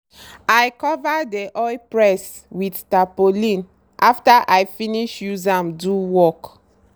i cover dey oil press with tarpaulin after i finish use am do work.